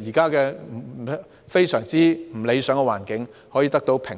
以及現時非常不理想的環境，得到平息。